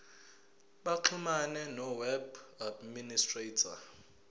baxhumane noweb administrator